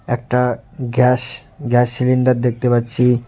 একটা gas gas cylinder দেখতে পাচ্ছি।